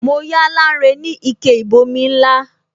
Mo yá Lanre ni ike ìbomi ńlá